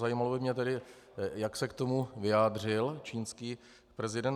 Zajímalo by mě tedy, jak se k tomu vyjádřil čínský prezident.